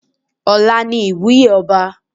Ọ̀la ni ìwúyè ọba.